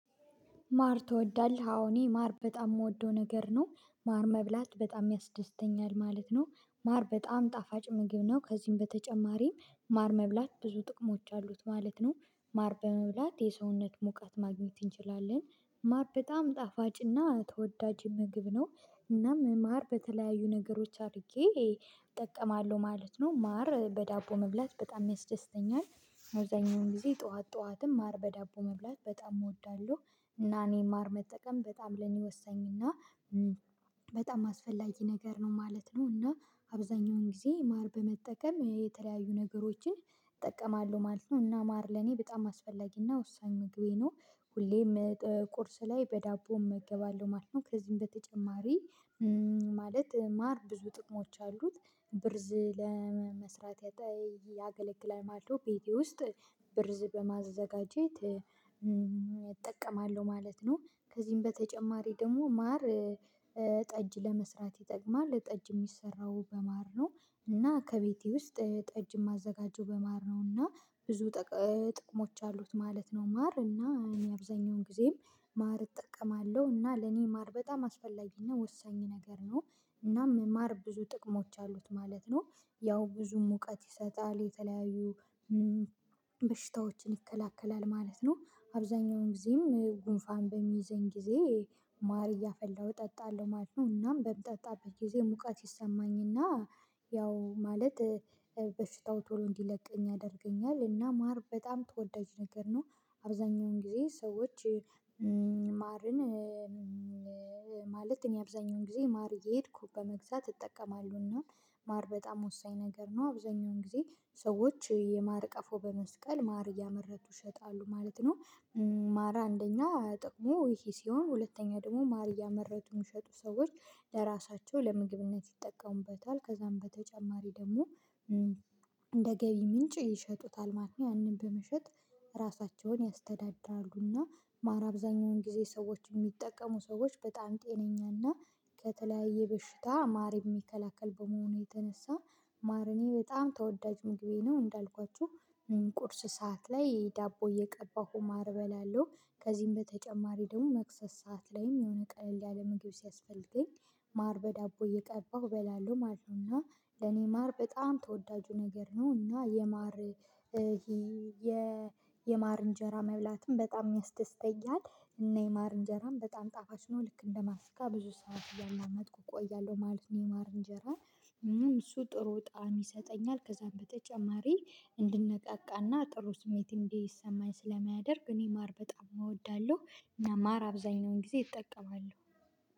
ማር ትወዳለህ። አዎ፣ እኔ ማር በጣም ምወደው ነገር ነው። ማር መብላት በጣም ያስደስተኛል ማለት ነው። ማር በጣም ጣፋጭ ምግብ ነው። ከዚም በተጨማሪም ማር መብላት ብዙ ጥቅሞች አሉት ማለት ነው። ማር በመብላት የሰውነት ሙቀት ማግኘት እንችላለን። ማር በጣም ጣፋጭና ተወዳጅ ምግብ ነው። እናም ማር በተለያዩ ነገሮች አርጌ እጠቀማለሁ ማለት ነው። ማር በዳቦ መብላት በጣም ያስደስተኛል። አብዛኛውን ጊዜ ጠዋት፣ ጠዋትም ማር በዳቦ መብላት በጣም እወዳለሁ። እና እኔ ማር መጠቀም በጣም ለኔ ወሳኝ እና እ በጣም አስፈላጊ ነገር ነው ማለት ነው። እና አብዛኛውን ጊዜ ማር በመጠቀም የተለያዩ ነገሮችን እጠቀማለሁ ማለት ነው። እና ማር ለኔ በጣም አስፈላጊና ወሳኝ ምግቤ ነው። ሁሌም እ ጠ ቁርስ ላይ በዳቦ እመገባለሁ ማለት ነው። ከዚህም በተጨማሪ እም ማለት ማር ብዙ ጥቅሞች አሉት። ብርዝ ለመ መስራት ያጠ ይ ያገለግላል ማልዶ። ቤቴ ውስጥ ብርዝ በማዘጋጀት እም እጠቀማለሁ ማለት ነው። ከዚህም በተጨማሪ ደሞ ማር እ ጠጅ ለመስራት ይጠቅማል። ጠጅ እሚሰራው በማር ነው። እና ከቤቴ ውስጥ እ ጠጅ ማዘጋጀው በማር ነው። እና ብዙ እ ጥቅሞች አሉት ማለት ነው ማር። እና እኔ አብዛኛውን ጊዜም ማር እጠቀማለሁ። እና ለኔ ማር በጣም አስፈላጊና ወሳኝ ነገር ነው። እናም ማር ብዙ ጥቅሞች አሉት ማለት ነው። ያው ብዙ ሙቀት ይሰጣል፣ የተለያዩ ም በሽታዎችን ይከላከላል ማለት ነው። አብዛኛውን ጊዜም እጉንፋን በሚይዘን ጊዜ ማር እያፈላሁ እጠጣለሁ ማለት ነው። እናም በምጠጣበት ጊዜ ሙቀት ይሰማኝና ያው ማለትእ እ በሽታው ቶሎ እንዲለቀኝ ያደርገኛል። እና ማር በጣም ተወዳጅ ነገር ነው። አብዛኛውን ጊዜ ሰዎች እ ም ማርን እ ምእ ማለት እኔ አብዛኛውን ጊዜ ማር እየሄድኩ በመግዛት እጠቀማለሁ። እና ማር በጣም ወሳኝ ነገር ነው። አብዛኛውን ጊዜ ሰዎች የማር ቀፎ በመስቀል ማር እያመረቱ ይሸጣሉ ማለት ነው። ማር አንደኛ ጥቅሙ ይሄ ሲሆን ሁለተኛ ደግሞ ማር እያመረቱ ሚሸጡ ሰዎች ለራሳቸው ለምግብነት ይጠቀሙበታል። ከዛም በተጨማሪ ደሞ እም እንደ ገቢ ምንጭ ይሸጡታል ማለት ነው። ያንን በመሸጥ ራሳቸውን ያስተዳዳሉ። እና ማር አብዛኛውን ጊዜ ሰዎች እሚጠቀሙ ሰዎች በጣም ጤነኛና ከተለያዬ በሽታ ማር እሚከላከል በመሆኑ የተነሳ ማር እኔ በጣም ተወዳጅ ምግቤ ነው። እንዳልኳችሁ እም ቁርስ ሰዓት ላይ ዳቦ እየቀባሁ ማር እበላለው። ከዚህም በተጨማሪ ደሞ መክሰስ ሰዓት ላይም የሆነ ቀለል ያለ ምግብ ሲያስፈልገኝ ማር በዳቦ እየቀባሁ እበላለው ማል ነው። እና ለኔ ማር በጣም ተወዳጁ ነገር ነው። እና የማር እ እሄ የ የማር እንጀራ መብላትም በጣም ሚያስደስተኛል እና የማር እንጀራም በጣም ጣፋጭ ነው። ልክ እንደ ማስቲካ ብዙ ሰዓት እያላመጥኩ ቆያለው ማለት ነው የማር እንጀራን። እም እሱ ጥሩ ጣዕም ይሰጠኛል። ከዛም በተጨማሪ እንድነቃቃና ጥሩ ስሜት እንዲሰማኝ ስለማያደርግ እኔ ማር በጣም እወዳለሁ። እና ማር አብዛኛውን ጊዜ እጠቀማለው።